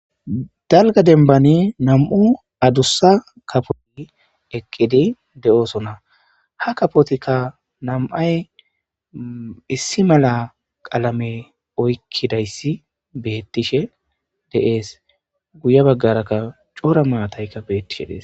dalga denbani nam7u adussa kapoti eqqidi de7oosona ha kapotikka nam7ay issi mala qalame oykkidayssi beettishe deees guye baggarakka cora maataykka beettishe dees